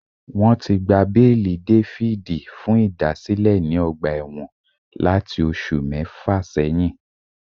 David ti gba beeli lati thr kere aabo tubu osu mefa seyin